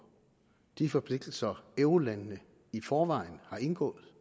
de forpligtelser eurolandene i forvejen har indgået